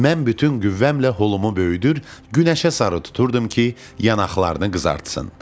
Mən bütün qüvvəmlə holumu böyüdür, günəşə sarı tuturdum ki, yanaqlarını qızartsın.